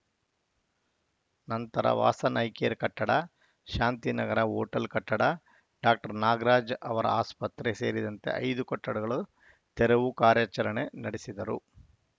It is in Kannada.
ನಂತರ ವಾಸನ್‌ ಐ ಕೇರ್‌ ಕಟ್ಟಡ ಶಾಂತಿನಗರ ಹೋಟೆಲ್‌ ಕಟ್ಟಡ ಡಾಕ್ಟರ್ ನಾಗರಾಜ್‌ ಅವರ ಆಸ್ಪತ್ರೆ ಸೇರಿದಂತೆ ಐದು ಕಟ್ಡಡಗಳು ತೆರವು ಕಾರ್ಯಾಚರಣೆ ನಡೆಸಿದರು